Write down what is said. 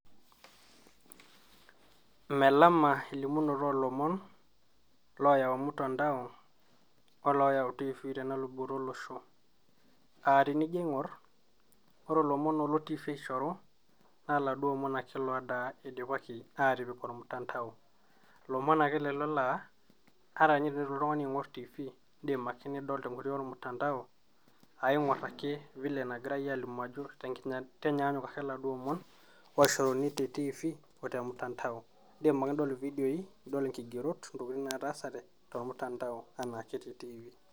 Melama elimunoto oolomon ooyau mtandao olooyau tv tenaluboto olosho aatinijio aing'or ore ilomon oolo tv aishoru naa laduoake omon oidipaki aatipik ormutandao lomon ake lelo laa ata tinilotu oltung'ani aing'or tv indiim ake nido tenkoitoi ormutandao aaing'or ake vile nagirai alimu enyaanyuk ake iladuoo omon olimuni te tvii otemtandao indiim ake nidol ividioi nidol inkigerot intokitin nataasate tormtandao enaame te tv.